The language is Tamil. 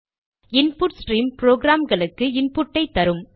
இன்புட் ஸ்ட்ரீம் ப்ரோக்ராம்களுக்கு இன்புட்டை தரும்